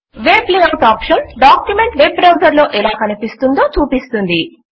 web layout option document web browser లో ఎలా కనిపిస్తుందో చూపిస్తుంది